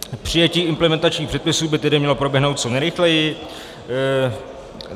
Přijetí implementačních předpisů by tedy mělo proběhnout co nejrychleji.